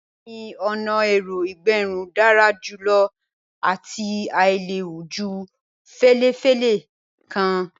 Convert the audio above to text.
Bẹẹni, ọna ẹ̀rọ ìgẹrun dara julọ ati ailewu ju felefele kan.